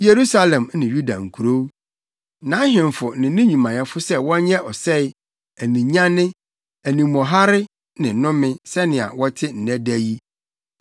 Yerusalem ne Yuda nkurow, nʼahemfo ne ne nnwumayɛfo sɛ wɔnyɛ ɔsɛe, aninyanne, animɔharefo ne nnome, sɛnea wɔte nnɛ da yi.